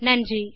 நன்றி